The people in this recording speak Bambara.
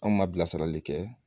Anw ma bilasirali kɛ